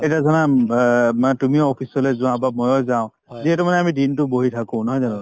এতিয়া ধৰা উম অ মানে তুমিও office লৈ যোৱা বা ময়ো যাওঁ যিহেতু মানে আমি দিনতো বহি থাকো নহয় জানো